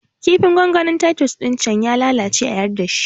Kifin gongonin titus ɗin can ya lalace a yarda shi